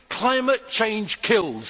Climate change kills.